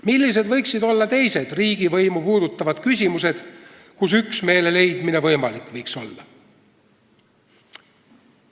Millised võiksid olla teised riigivõimu puudutavad küsimused, kus üksmeele leidmine võimalik võiks olla?